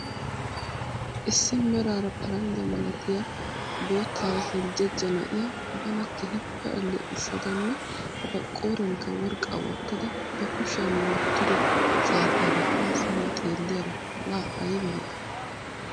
Issi meraara paranjjaa malattiyaa boottaara heljejja na'ya bana keehiippe aleqqisadanne ba qooriyankka worqqaa wottada ba kushshiyan wottido saatiyaara haa simma xeelliyara laa ayba lo'ay?